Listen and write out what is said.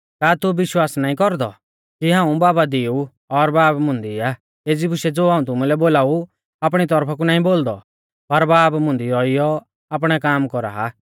का तू विश्वास नाईं कौरदौ कि हाऊं बाबा दी ऊ और बाब मुंदी आ एज़ी बुशै ज़ो हाऊं तुमुलै बोलाऊ आपणी तौरफा कु नाईं बोलदौ पर बाब मुंदी रौइऔ आपणै काम कौरा आ